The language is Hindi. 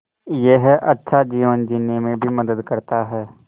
यह अच्छा जीवन जीने में भी मदद करता है